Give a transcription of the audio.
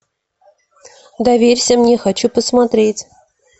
доверься мне хочу посмотреть